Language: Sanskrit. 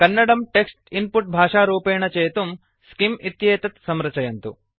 कन्नडं टेक्स्ट् इन्पुट् भाषारूपेण चेतुं स्किम् इत्येतत् संरचयन्तु